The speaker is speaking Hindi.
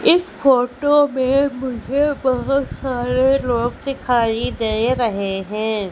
इस फोटो में मुझे बहोत सारे लोग दिखाई दे रहे हैं।